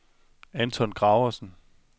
Anton Graversen